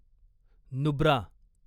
Nubra